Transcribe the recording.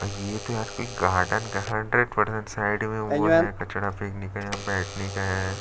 ये तो यार कोई गार्डन का हंड्रेड परसेंट साइड में वो है कचड़ा फेकने का यहाँ बैठना का है ।